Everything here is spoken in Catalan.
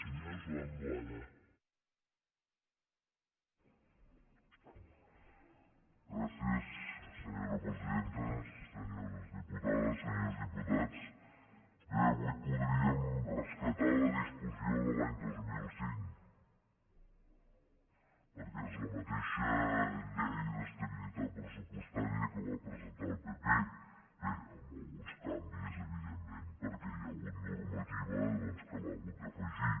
senyores diputades senyors diputats bé avui podríem rescatar la discussió de l’any dos mil cinc perquè és la mateixa llei d’estabilitat pressupostària que va presentar el pp bé amb alguns canvis evidentment perquè hi ha hagut normativa doncs que l’ha hagut d’afegir